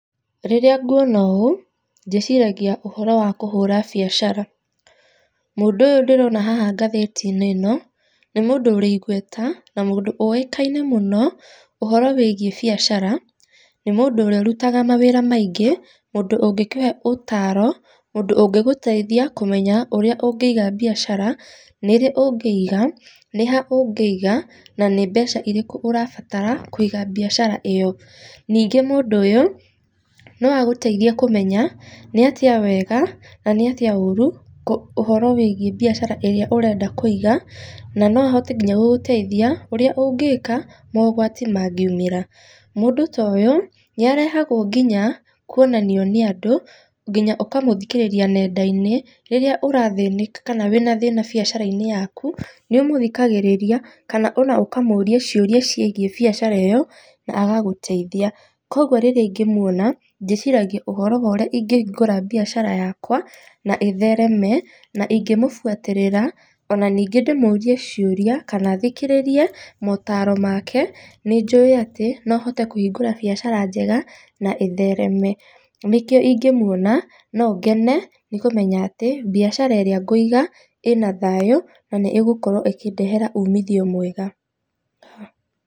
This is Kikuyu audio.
Rĩrĩa nguona ũũ, ndĩciragia ũhoro wa kũhũra biacara. Mũndũ ũyũ ndĩrina haha ngathĩti-inĩ ĩno, nĩ mũndũ ũrĩ igweta, na mũndũ ũĩkaine mũno ũhoro wĩgiĩ biacara, nĩ mũndũ ũrĩa ũrutaga mawĩra maingĩ, mũndũ ũngĩkũhe ũtaro, mũndũ ũngĩgũteithia kũmenya ũríĩ ũngĩiga biacara, nĩrĩ ũngĩiga, nĩ ha ũngĩiga na nĩ mbeca irĩkũ ũrabatara kũiga biacara ĩyo. Ningĩ mũndũ ũyi no agũteithie kũmenya nĩ atĩa wega nanĩ atĩa ũru, ũhoro wĩgiĩ biacara ĩrĩa ũrenda kũiga, na no ahote nginya gũgũteithia ũrĩa ũngĩka maũgwati mangiumĩra. Mũndũ ta ũyũ, nĩ arehagwo nginya kuonanio nĩ andũ nginya ũkamũthikĩrĩria nenda-inĩ, rĩrĩa ũrathĩnĩka kana wĩ na thĩna biacara-inĩ yaku, nĩ ũmũthikagĩrĩria kana ona ũkamũũria ciũria ciĩgiĩ biacara ĩyo na agagũteithia. Koguo rĩrĩa ingĩmuona, ndĩciragia ũhoro wa ũrĩa ingĩhingũra biacara yakwa na ĩthereme, na ingĩmũbuatĩrĩra ona ningĩ ndĩmũrie ciũria kana thikĩrĩrie motaro make, nĩ njũĩ atĩ no hote kũhingũra biacara njega na ĩthereme, nĩ kĩo ingĩmuona, no ngene nĩ kũmenya atĩ biacara ĩrĩa ngũiga, ĩna thayũ na nĩ ĩgũkorwo ĩkĩndehera umithio mwega.